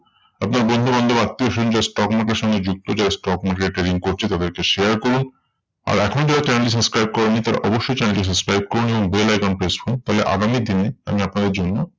আপনার বন্ধুবান্ধব আত্মীয়স্বজন যারা stock market এর সঙ্গে যুক্ত। যারা stock market trading করছে তাদেরকে share করুন। আর এখনও যারা channel কে subscribe করোনি তারা অবশ্যই channel কে subscribe করুন এবং bell icon press করুন। তাহলে আগামী দিনে আমি আপনাদের জন্য